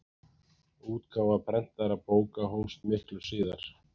Útgáfa prentaðra bóka hófst miklu síðar.